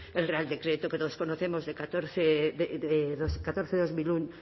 el real decreto que todos conocemos de catorce barra